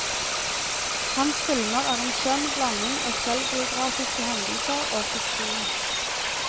Hans filmer er en skjønn blanding av selvbiografiske hendelser og fiksjon.